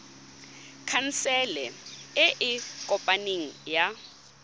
khansele e e kopaneng ya